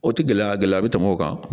O tɛ gɛlɛya gɛlɛya bɛ tɛmɛ o kan